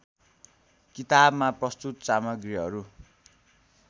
किताबमा प्रस्तुत सामग्रीहरू